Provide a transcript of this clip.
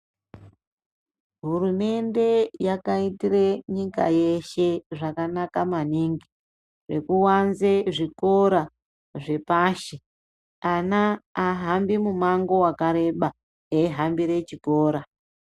Hurumende yakaitire nyika yeshe zvakanaka maningi zvekuwanze zvikora zvepashi. Ana ahambi mumango wakareba eyihambire chikora.